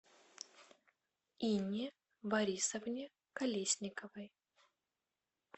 инне борисовне колесниковой